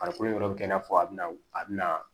Farikolo in yɔrɔ bɛ kɛ i n'a fɔ a bɛna a bɛna